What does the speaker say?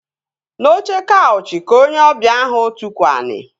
N'oche kaụchị ka onye ọbịa ahụ tukwu ani